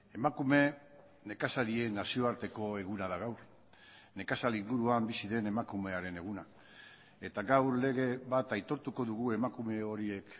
emakume nekazarien nazioarteko eguna da gaur nekazal inguruan bizi den emakumearen eguna eta gaur lege bat aitortuko dugu emakume horiek